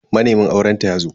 Manemin aurenta yazo.